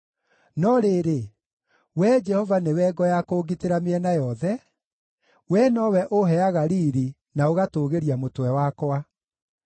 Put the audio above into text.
No rĩrĩ, Wee Jehova nĩwe ngo ya kũngitĩra mĩena yothe; Wee nowe ũũheaga riiri na ũgatũũgĩria mũtwe wakwa.